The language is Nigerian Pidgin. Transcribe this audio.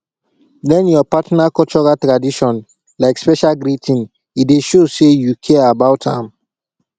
learn your partner cultural tradition like special greeting e dey show say you care about am